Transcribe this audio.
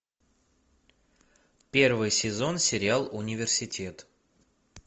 первый сезон сериал университет